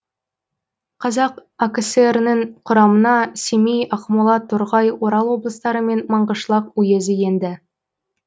қазақ акср нің құрамына семей ақмола торғай орал облыстары мен маңғышлақ уезі енді